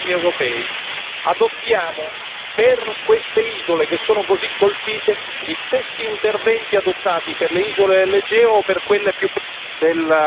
Adottiamo per queste isole che sono così colpite gli stessi interventi adottati per le isole dell'Egeo o per quelle più periferiche extraeuropee.